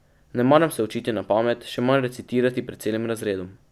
Ne maram se učiti na pamet, še manj recitirati pred celim razredom.